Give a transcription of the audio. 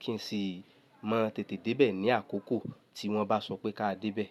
kí n sì mọ tètè dé bẹ̀ ní àkókò tí wọ́n bá sọ pé ká dé bẹ̀